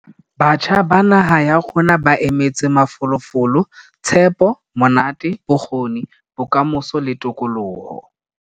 Batjha ba naha ya rona ba emetse mafolofolo, tshepo, monate, bokgoni, bokamoso le tokoloho.